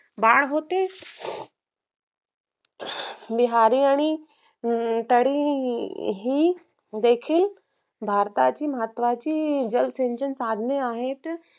दार होते निहारी आणि हम्म तरीही देखील भारताची महत्वाची जलसचन साधने आहेत